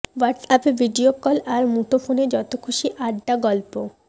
হোয়াটস অ্যাপে ভিডিওকল আর মুঠোফোনে যত খুশি আড্ডা গল্প